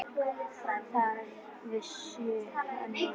Það vissi hann núna.